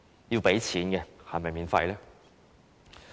要付錢是否免費呢？